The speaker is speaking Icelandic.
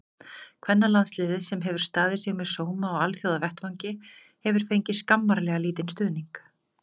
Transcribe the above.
Kvennalandsliðið, sem hefur staðið sig með sóma á alþjóðavettvangi, hefur fengið skammarlega lítinn stuðning.